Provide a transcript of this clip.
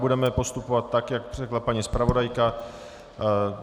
Budeme postupovat tak, jak řekla paní zpravodajka.